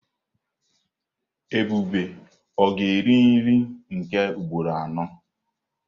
Ebube ga-eri nri nke ugboro anọ?